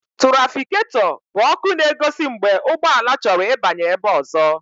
Túrafikato bụ ọkụ na-egosi mgbe ụgbọala chọrọ ịbanye ebe ọzọ.